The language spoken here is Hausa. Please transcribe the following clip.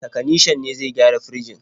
Takanishan ne zai gyara firjin.